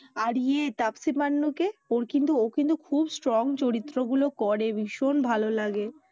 আর ইয়ে তাপসী মান্নু কে ওর কিন্তু ও কিন্তু খুব strong চরিত্র গুলো করে ভীষন ভালো লাগে।